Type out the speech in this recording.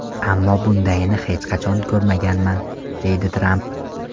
Ammo bundayini hech qachon ko‘rmaganman”, deydi Tramp.